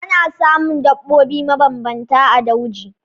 Ana samun daɓobi mabambanta a dauji.